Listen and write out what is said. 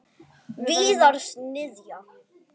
Víðars niðja.